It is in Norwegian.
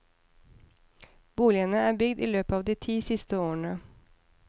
Boligene er bygd i løpet av de ti siste årene.